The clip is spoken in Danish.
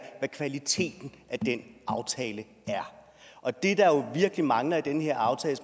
hvad kvaliteten af den aftale er og det der virkelig mangler i den her aftale